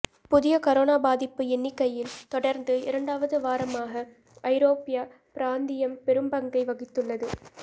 புதிய கரோனா பாதிப்பு எண்ணிக்கையில் தொடா்ந்து இரண்டாவது வாரமாக ஐரோப்பியப் பிராந்தியம் பெரும்பங்கை வகித்துள்ளது